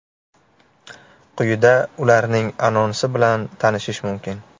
Quyida ularning anonsi bilan tanishish mumkin.